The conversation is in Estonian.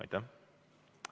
Aitäh!